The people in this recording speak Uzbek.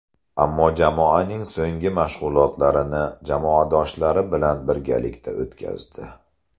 Ammo jamoaning so‘nggi mashg‘ulotlarini jamoadoshlari bilan birgalikda o‘tkazdi.